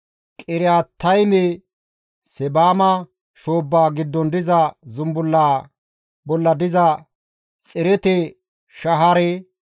Qiriyaatayme, Seebama shoobbaa giddon diza zumbullaa bolla diza Xerete-Shahaare,